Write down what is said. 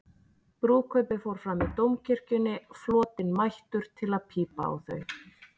Brúðkaupið fór fram í Dómkirkjunni, flotinn mættur til að pípa á þau.